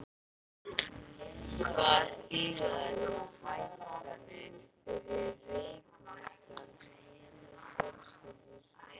Hvað þýða þessar hækkanir fyrir reykvískar fjölskyldur?